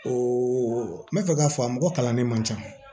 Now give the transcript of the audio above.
O n bɛ fɛ k'a fɔ a mɔgɔ kalannen man ca